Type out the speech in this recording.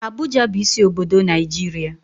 Abuja bu isi obodo Naijiria